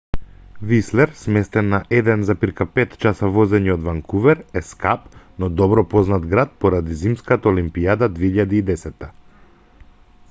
вислер сместен на 1,5 часа возење од ванкувер е скап но добро познат град поради зимската олимпијада 2010